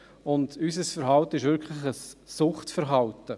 Unser Verhalten ist wirklich ein Suchtverhalten.